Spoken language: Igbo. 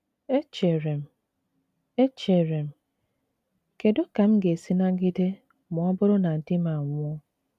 Echere m, Echere m, ‘ Kedu ka m ga-esi nagide ma ọ bụrụ na di m anwụọ?